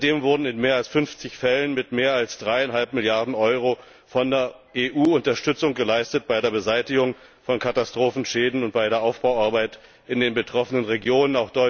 Seitdem wurde in mehr als 50Fällen mit mehr als 3,5 Milliarden Euro von der EU Unterstützung geleistet bei der Beseitigung von Katastrophenschäden und bei der Aufbauarbeit in den betroffenen Regionen.